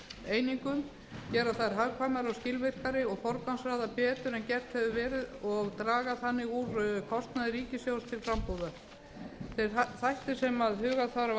einingum gera þær hagkvæmari og skilvirkari og forgangsraða betur en gert hefur verið og draga þannig úr kostnaði ríkissjóðs til frambúðar þeir þættir sem huga þarf að við